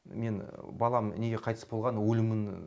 мен балам неге қайтыс болған өлімін